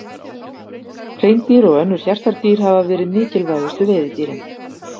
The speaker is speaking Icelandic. Hreindýr og önnur hjartardýr hafa verið mikilvægustu veiðidýrin.